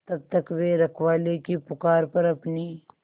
तब तक वे रखवाले की पुकार पर अपनी